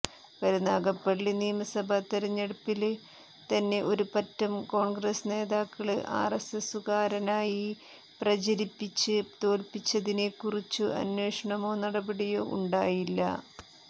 കരുനാഗപ്പള്ളി നിയമസഭാതെരഞ്ഞെടുപ്പില് തന്നെ ഒരു പറ്റം കോണ്ഗ്രസ് നേതാക്കള് ആര്എസ്എസുകാരനായി പ്രചരിപ്പിച്ച് തോല്പിച്ചതിനെക്കുറിച്ചു അന്വേഷണമോ നടപടിയോ ഉണ്ടായില്ല